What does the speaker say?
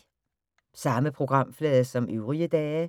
Samme programflade som øvrige dage